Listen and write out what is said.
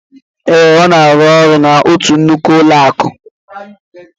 Ee, Ọ na-arụ ọrụ n'otu nnukwu ụlọakụ